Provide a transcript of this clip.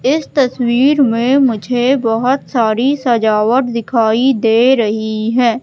इस तस्वीर में मुझे बहोत सारी सजावट दिखाई दे रही हैं।